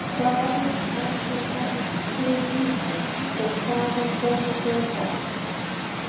Hvaða efni eru það sem safnast fyrir í þeim og hvaðan koma þau helst?